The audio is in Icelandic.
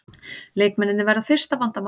Leikmennirnir verða fyrsta vandamálið